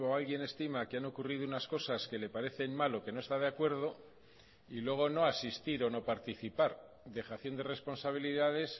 alguien estima que han ocurrido unas cosas que le parecen mal o que no está de acuerdo y luego no asistir o no participar dejación de responsabilidades